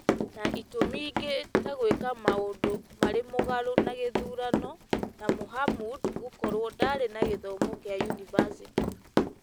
na itũmi ingĩ ta gwĩka maũndũ marĩ mũgarũ na gĩthurano na Mohamud gũkorwo ndaarĩ na gĩthomo kĩa yunivasĩtĩ,